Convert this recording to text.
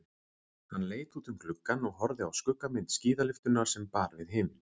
Hann leit út um gluggann og horfði á skuggamynd skíðalyftunnar sem bar við himin.